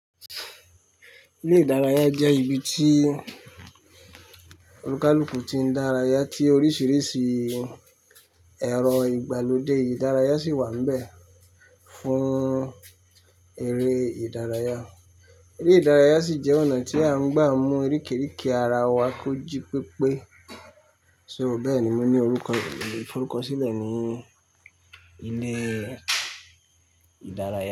Ilé ìdárayá jẹ́ ibi tí olúkalùkù ti ń dárayá tí oríṣìíríṣìí ẹ̀rọ ìgbàlódé ìdárayá sì wà níbẹ̀ fún eré ìdárayá. Eré ìdárayá sì jẹ́ ọ̀nà tí a ń gbà mú orikerike ara wa kóji pípé. So bẹ́ẹ̀ ni mo ní orúkọ, mo le fi orúkọ sílẹ̀ ní ilé ìdárayá.